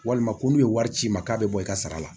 Walima ko n'u ye wari ci i ma k'a bɛ bɔ i ka sara la